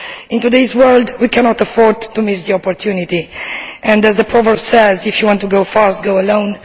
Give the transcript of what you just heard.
In today's world we cannot afford to miss the opportunity, and as the proverb says if you want to go fast, go alone